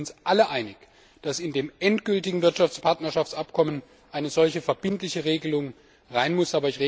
Ich denke, wir sind uns alle einig, dass in das endgültige Wirtschaftspartnerschaftsabkommen eine solche verbindliche Regelung hinein muss.